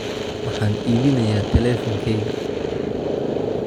Waxaan iibinayaa teleefankayga